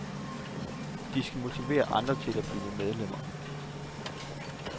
De skal motivere andre til at blive medlemmer.